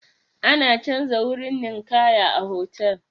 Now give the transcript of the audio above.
Ana canza ruwan ninkaya a hotal.